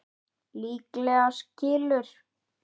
Líklega skilur